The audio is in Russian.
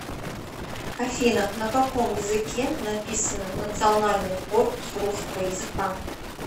афина на каком языке написано национальный корпус русского языка